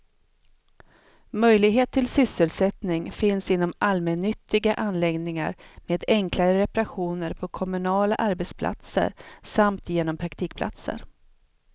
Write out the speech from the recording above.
Möjlighet till sysselsättning finns inom allmännyttiga anläggningar, med enklare reparationer på kommunala arbetsplatser samt genom praktikplatser.